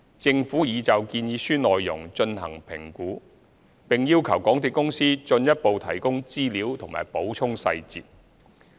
政府已就建議書內容進行評估，並要求港鐵公司進一步提供資料和補充細節。